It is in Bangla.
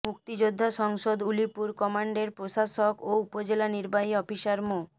মুক্তিযোদ্ধা সংসদ উলিপুর কমান্ডের প্রশাসক ও উপজেলা নির্বাহী অফিসার মো